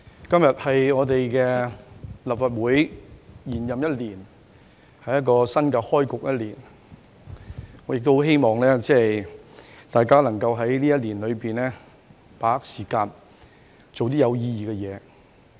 代理主席，今天是立法會延任一年開局的新一天，我希望大家今年能夠把握時間，做有意義的事。